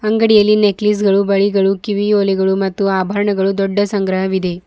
ಅಂಗಡಿಯಲ್ಲಿ ನೆಕ್ಲೇಸ್ಗಳು ಬಳಿಗಳು ಕಿವಿಯೋಲೆಗಳು ಮತ್ತು ಆಭರಣಗಳು ಮತ್ತು ದೊಡ್ಡ ಸಂಗ್ರಹವಿದೆ.